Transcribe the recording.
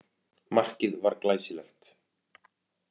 Markið var glæsilegt.